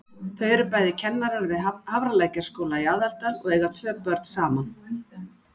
Þau eru bæði kennarar við Hafralækjarskóla í Aðaldal og eiga tvö börn saman.